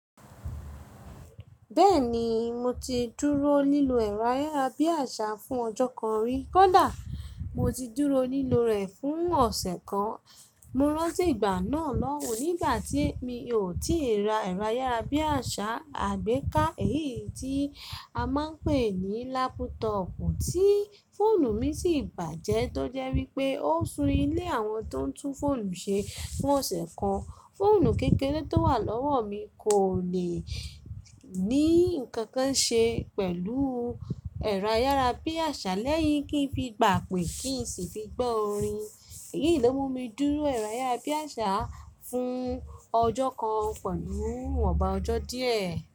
Bẹ́ẹ̀ni mo ti dúró lílo ẹ̀rọ ayárabíàṣá fún ọjọ́ kan rí, kódà mo ti dúró lílọ rẹ̀ fún ọ̀sẹ̀ kan. Mo rántí ìgbà náà lọ́hun nígbà tí mi ò tíì ra ẹ̀rọ ayárabíàṣá àgbéká, èyí tí a máa ń pè ní lápútọọ̀pù, tí fóònù mi sì bàjẹ́, tó jẹ́ wípé ó sún ilé àwọn tó ń tún fóònù ṣe fún ọ̀sẹ̀ kan. Fóònù kékeré tó wà lọ́wọ́ mi kò le ní nǹkan kan ṣe pẹ̀lú ẹ̀rọ ayárabíàṣá lẹ́yìn kí ń fi gbà pè kí ń sì fi gbọ́ orin. Èyí ló mú mi dúró ẹ̀rọ ayárabíàṣá fún ọjọ́ kan pẹ̀lú ọba ọjọ́ díẹ̀.